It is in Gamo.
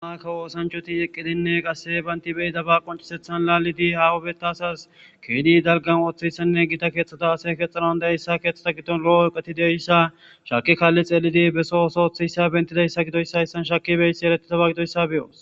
Amakka woosanchoti eqqidinne qasse baynti beyidaba qoncisethan laalidi hawubeta asas keedi dalgan ooththayssanne giida keeththata ase kexxanan da hyssa keeththata giddon lo'o eqetideyssa shaki kaalli xeelidi beso oso oththiyssa bentidayssa gidoyssayssan shaki beysi eretitaba gidoyssa beyoos.